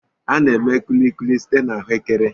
A na-eme Kulikuli site na Ahụekere.